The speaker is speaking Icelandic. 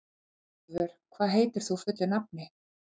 Oddvör, hvað heitir þú fullu nafni?